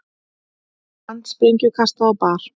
Handsprengju kastað á bar